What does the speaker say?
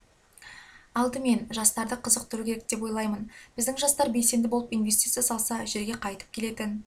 алдымен жастарды қызықтыру керек деп ойлаймын біздің жастар белсенді болып инвестиция салса жерге қайтып келетін